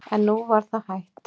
En nú var það hætt.